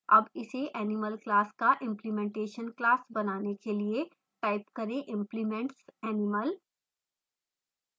अब इसे animal class का implementation class बनाने के लिए type करें implements animal